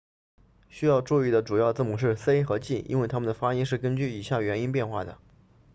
需要注意的主要字母是 c 和 g 因为它们的发音是根据以下元音变化的